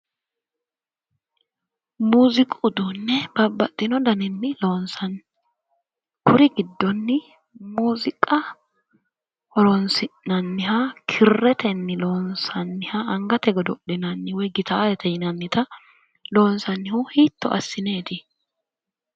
Muuziiqu uduunne babbaxxino daninni loonsanni. Kuri giddonni muuziiqa horoonsi'nanniha kirretenni angate godo'linannita woy gitaarete yinannita loonsannihu hiitto assineeti?